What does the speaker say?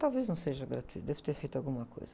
Talvez não seja gratuito, devo ter feito alguma coisa.